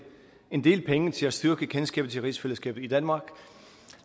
en del penge til at styrke kendskabet til rigsfællesskabet i danmark